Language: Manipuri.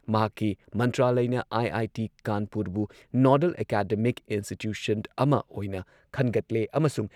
ꯃꯍꯥꯛꯀꯤ ꯃꯟꯇ꯭ꯔꯥꯂꯢꯅ ꯑꯥꯏ.ꯑꯥꯏ.ꯇꯤ. ꯀꯥꯟꯄꯨꯔꯕꯨ ꯅꯣꯗꯜ ꯑꯦꯀꯥꯗꯃꯤꯛ ꯏꯟꯁꯇꯤꯇ꯭ꯌꯨꯁꯟ ꯑꯃ ꯑꯣꯏꯅ ꯈꯟꯒꯠꯂꯦ ꯑꯃꯁꯨꯡ